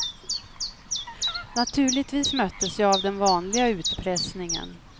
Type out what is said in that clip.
Naturligtvis möttes jag av den vanliga utpressningen.